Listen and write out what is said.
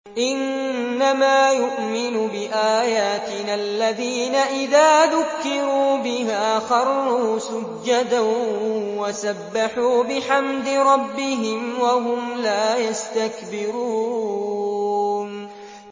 إِنَّمَا يُؤْمِنُ بِآيَاتِنَا الَّذِينَ إِذَا ذُكِّرُوا بِهَا خَرُّوا سُجَّدًا وَسَبَّحُوا بِحَمْدِ رَبِّهِمْ وَهُمْ لَا يَسْتَكْبِرُونَ ۩